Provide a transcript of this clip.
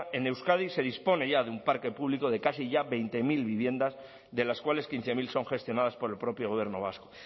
en euskadi se dispone ya de un parque público de casi ya veinte mil viviendas de las cuales quince mil son gestionadas por el propio gobierno vasco